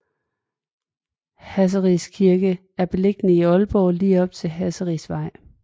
Hasseris Kirke er beliggende i Aalborg lige op til Hasserisvej